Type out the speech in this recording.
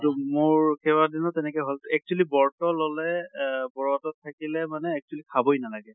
তʼ মোৰ কেবাদিনো তেনেকে হʼল । actually বৰ্ত ললে এহ বৰতত থাকিলে মানে actually খাবই নালাগে।